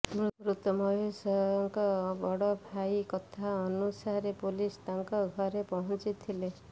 ମୃତ ମହେଶଙ୍କ ବଡ଼ ଭାଇଙ୍କ କଥା ଅନୁସାରେ ପୋଲିସ ତାଙ୍କ ଘରେ ପହଞ୍ଚିଥିଲେ